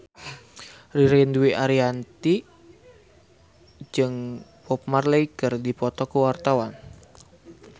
Ririn Dwi Ariyanti jeung Bob Marley keur dipoto ku wartawan